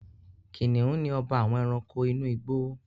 Kìnìún ni ọba àwọn Ẹranko inú igbó